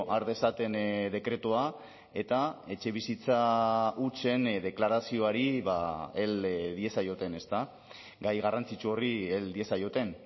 har dezaten dekretua eta etxebizitza hutsen deklarazioari hel diezaioten gai garrantzitsu horri hel diezaioten